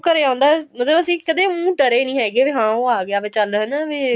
ਘਰੇ ਆਉਂਦਾ ਮਤਲਬ ਅਸੀਂ ਉ ਕਦੇ ਡਰੇ ਨੀਂ ਹੈਗੇ ਵੀ ਹਾਂ ਉਹ ਆ ਗਿਆ ਚੱਲ ਵੀ ਹਨਾ ਵੀ